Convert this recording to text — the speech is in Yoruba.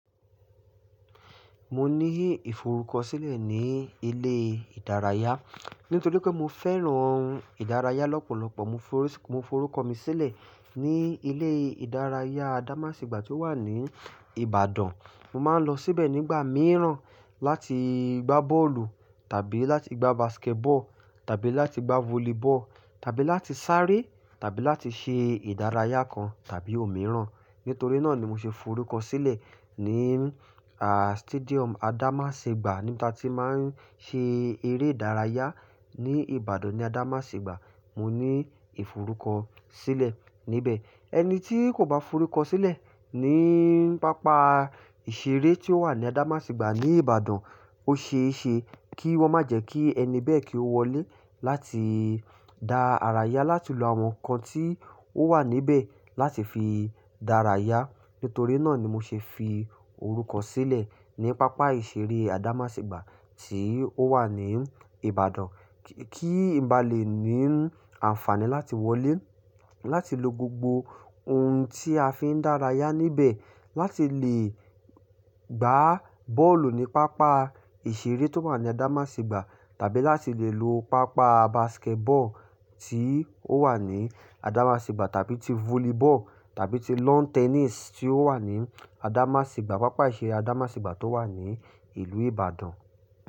Mo ní ìforúkọ sílẹ̀ ní ilé ìdárayá, nítorí pé mo fẹ́ràn ìdárayá lọ́pọ̀lọpọ̀. Mo forúkọ mi sílẹ̀ ní ilé ìdárayá Adamasingba tí ó wà ní Ìbàdàn. Mo máa ń lọ síbẹ̀ nígbà mìíràn láti gbá bọ́ọ̀lù tàbí láti gbá basketball tàbí láti gbá volleyball tàbí láti sáré tàbí láti ṣe ìdárayá kan tàbí òmíràn. Nítorí náà ni mo ṣe forúkọ sílẹ̀ ní à stadium Adamasingba níbi ta tí máa ń ṣe eré ìdárayá ní Ìbàdàn ní Adamasingba. Mo ní ìforúkọ sílẹ̀ níbẹ̀. Ẹni tí kò bá forúkọ sílẹ̀ ní pápá ìṣeré tí ó wà ní Adamasingba ní Ìbàdàn, ó ṣe é ṣe kí wọ́n má jẹ́ kí ẹni bẹ́ẹ̀ kí ó wọlé láti dá ara yá láti lo àwọn nǹkan tí ó wà níbẹ̀ láti fi dára yá. Nítorí náà ni mo ṣe fi orúkọ sílẹ̀ ní pápá ìṣeré Adamasingba tí ó wà ní Ìbàdàn kí n bá lè ní àǹfààní láti wọlé láti lo gbogbo ohun tí a fi ń dára yá níbẹ̀. Láti lè gbá bọ́ọ̀lù ní pápá ìṣeré tó wà ní Adamasingba tàbí láti lè lo pápá basketball tí ó wà ní Adamasingba tàbí ti volleyball tàbí ti lawn tennis tí ó wà ní Adamasingba, pápá ìṣeré Adamasingba tó wà ní ìlú Ìbàdàn.